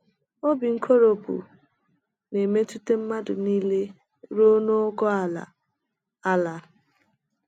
OBI nkoropụ na - emetụta mmadụ nile ,rụo na ogo ala. ala.